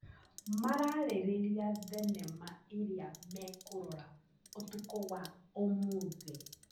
Mararĩrĩria thenema ĩrĩa mekũrora ũtukũ wa ũmũthĩ.